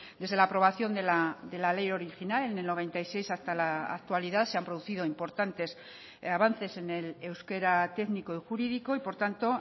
desde la aprobación de la ley original en el noventa y seis hasta la actualidad se han producido importantes avances en el euskera técnico y jurídico y por tanto